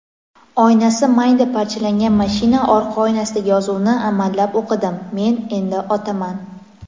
oynasi mayda parchalangan mashina orqa oynasidagi yozuvni amallab o‘qidim: "Men endi otaman!".